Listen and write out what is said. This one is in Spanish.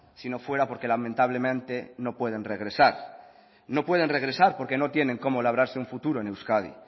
si no fuera porque lamentablemente no pueden regresar no pueden regresar porque no tienen como labrarse un futuro en euskadi